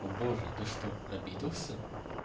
о боже ты что обиделся